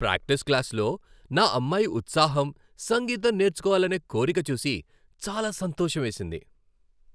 Practice క్లాస్లో నా అమ్మాయి ఉత్సాహం, సంగీతం నేర్చుకోవాలనే కోరిక చూసి చాలా సంతోషమేసింది.